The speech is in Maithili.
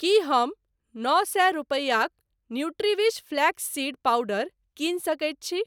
की हम नओ सए रूपैयाक न्यूट्रीविश फ्लैक्स सीड पाउडर कीनि सकैत छी?